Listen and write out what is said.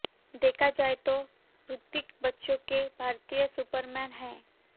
देखा जाए तो ऋतिक बच्चों के भारतीय सुपरमैन हैं